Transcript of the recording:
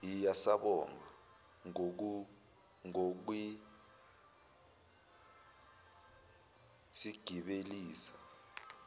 hhiya siyabonga ngokusigibelisa